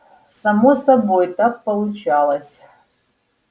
само собой так получалось